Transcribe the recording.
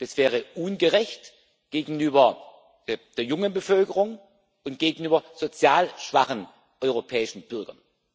Das wäre ungerecht gegenüber der jungen Bevölkerung und gegenüber sozial schwachen europäischen Bürgern.